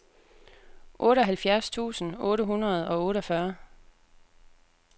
otteoghalvfjerds tusind otte hundrede og otteogfyrre